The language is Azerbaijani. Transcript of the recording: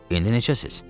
“İndi necəsiz?”